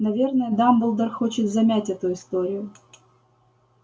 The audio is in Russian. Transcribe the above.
наверное дамблдор хочет замять эту историю